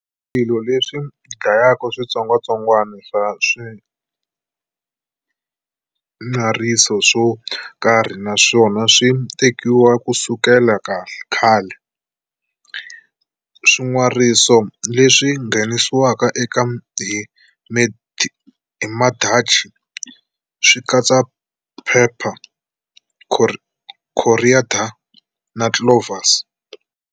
Swilo leswi dlayaka switsongwatsongwana swa swin'weriso swo karhi naswona swi tekiwile ku sukela khale. Swin'weriso leswi nghenisiweke eka hi Madachi swi katsa phepha, coriander na cloves.